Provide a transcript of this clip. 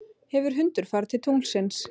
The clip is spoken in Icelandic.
hefur hundur farið til tunglsins